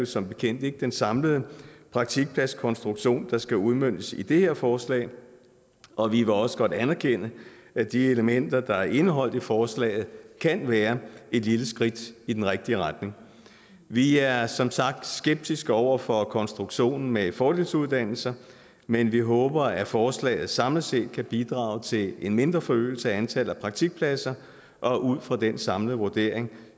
som bekendt ikke den samlede praktikpladskonstruktion der skal udmøntes i det her forslag og vi vil også godt anerkende at de elementer der er indeholdt i forslaget kan være et lille skridt i den rigtige retning vi er som sagt skeptiske over for konstruktionen med fordelsuddannelser men vi håber at forslaget samlet set kan bidrage til en mindre forøgelse af antallet af praktikpladser og ud fra den samlede vurdering